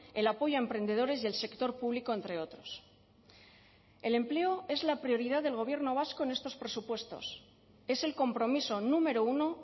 el apoyo a emprendedores y el sector público entre otros el empleo es la prioridad del gobierno vasco en estos presupuestos es el compromiso número uno